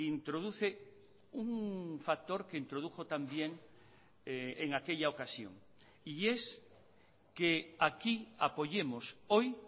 introduce un factor que introdujo también en aquella ocasión y es que aquí apoyemos hoy